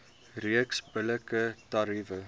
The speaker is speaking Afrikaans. reeks billike tariewe